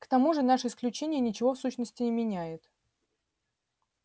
к тому же наше исключение ничего в сущности не меняет